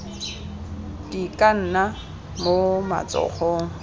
di ka nna mo matsogong